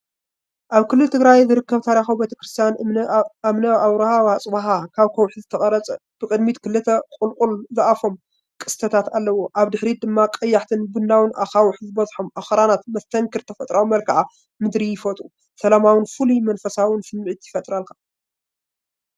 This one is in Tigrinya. ኣብ ክልል ትግራይ ዝርከብ ታሪኻዊ ቤተክርስትያን እምኒ ኣብርሃ ዋትስበሃ ካብ ከውሒ ዝተቐርፀ፣ ብቅድሚት ክልተ ቁልቁል ዝኣፉ ቅስትታት ኣለዎ። ኣብ ድሕሪት ድማ ቀያሕትን ቡናውን ኣኻውሕ ዝበዝሖም ኣኽራናት ፣መስተንክር ተፈጥሮኣዊ መልክዓ ምድሪ ይፈጥሩ። ሰላማውን ፍሉይን መንፈሳውን ስምዒት ይፈጥሩልካ።